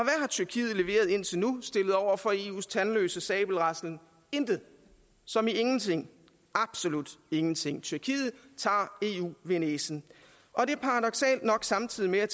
tyrkiet leveret indtil nu stillet over for eus tandløse sabelraslen intet som i ingenting absolut ingenting tyrkiet tager eu ved næsen og det er paradoksalt nok samtidig med at